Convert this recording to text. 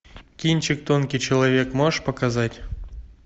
кинчик тонкий человек можешь показать